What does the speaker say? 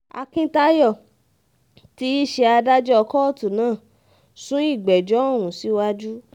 akíntayọ̀ tí í ṣe adájọ́ kóòtù náà sún ìgbẹ́jọ́ ọ̀hún síwájú